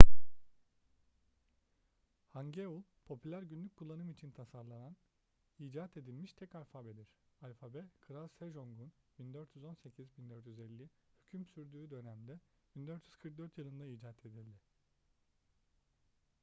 hangeul popüler günlük kullanım için tasarlanarak icat edilmiş tek alfabedir. alfabe kral sejong'un 1418 – 1450 hüküm sürdüğü dönemde 1444 yılında icat edildi